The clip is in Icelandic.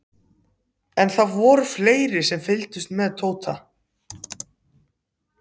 En það voru fleiri sem fylgdust með Tóta.